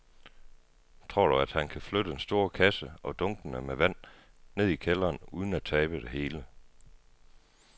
Tror du, at han kan flytte den store kasse og dunkene med vand ned i kælderen uden at tabe det hele?